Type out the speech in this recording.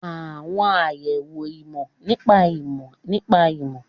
Àwọn àyẹ̀wò ìmọ̀ nípa ìmọ̀ nípa ìmọ̀